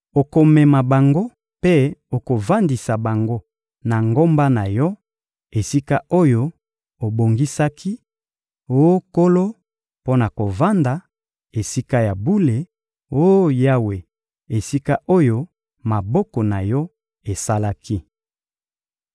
Okomema bango mpe okovandisa bango na ngomba na Yo, esika oyo obongisaki, oh Nkolo, mpo na kovanda, Esika ya bule, oh Yawe, esika oyo maboko na Yo esalaki.